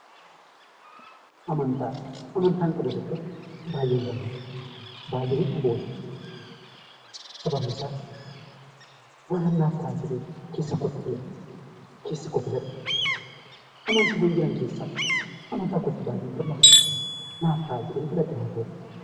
Amantaan qabu tokkotti baay'een gammada, baay'een itti boona sababni isaa waanan naaf ta'a jedhee keessa kootti filadhe, keessi koo filate amantiiwwan jiran keessaa amantaa kootti baay'een gammada. Naaf ta'a jedheen filadhe waan ta'eef.